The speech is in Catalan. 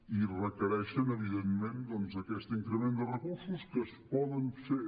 i requereixen evidentment aquest increment de recursos que es pot fer